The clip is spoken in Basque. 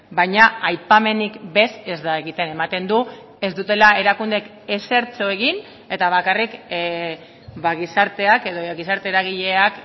baina aipamenik bez ez da egiten ematen du ez dutela erakundeek ezertxo egin eta bakarrik gizarteak edo gizarte eragileak